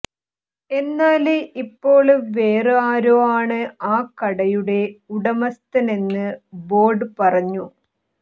എന്നാല് ഇപ്പോള് വേറേ ആരോ ആണ് ആ കടയുടെ ഉടമസ്ഥനെന്ന് ബോര്ഡ് പറഞ്ഞു